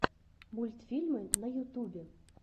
мультфильмы на ютубе